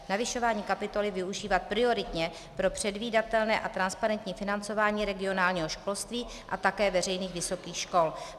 Navyšování kapitoly využívat prioritně pro předvídatelné a transparentní financování regionálního školství a také veřejných vysokých škol.